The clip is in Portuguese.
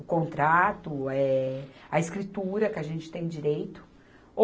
O contrato, eh, a escritura que a gente tem direito.